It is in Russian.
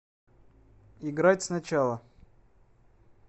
играть сначала